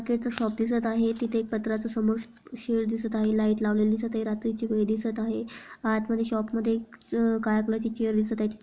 Shop दिसत आहे तिथे एक पत्र्याच शेड दिसत आहे लाइट लावलेली दिसत आहे रात्री ची वेळ दिसत आहे आत मध्ये शॉप मध्ये काळ्या कलर ची चेयर दिसत आहे.